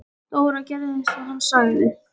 Dóra gerði eins og hann sagði.